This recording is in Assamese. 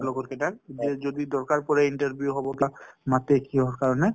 লগৰ কেইটাক যে যদি দৰকাৰ পৰে interview হব তাক মতে কিহৰ কাৰণে।